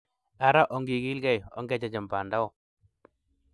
Ara ongigilgei, onge chechem banda o